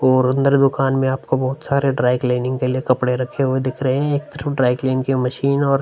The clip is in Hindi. और अंदर दुकान में आपको बहोत सारे ड्राई क्लीनिंग के कपडे रखे हुए दिख रहे हैं। ड्राई क्लीनिंग की मशीन और --